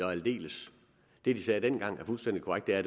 og aldeles det de sagde dengang er fuldstændig korrekt det er